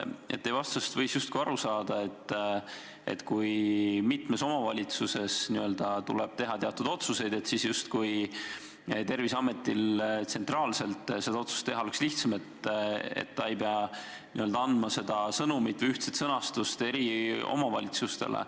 Teie vastusest võis justkui aru saada, et kui mitmes omavalitsuses tuleb teha teatud otsuseid, siis on Terviseametil tsentraalselt seda otsust teha lihtsam, ta ei pea andma seda sõnumit või ühtset sõnastust eri omavalitsustele.